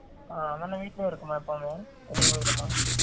ஆ அந்த அன்னன் வீட்ல தான் இருக்குமா எப்பையுமே, இல்ல வெலிய போய்ருமா?